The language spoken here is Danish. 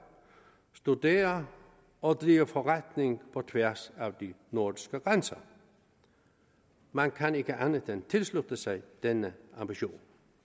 studere og drive forretning på tværs af de nordiske grænser man kan ikke andet end tilslutte sig denne ambition